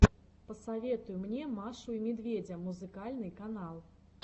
посоветуй мне машу и медведя музыкальный канал